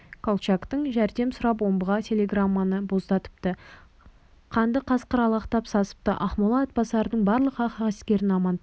колчактан жәрдем сұрап омбыға телеграмманы боздатыпты қанды қасқыр алақтап сасыпты ақмола атбасардың барлық ақ әскерін амантайға